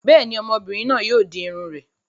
Bẹ́ẹ̀ ni, ọmọbìnrin náà yóò di irun rẹ̀.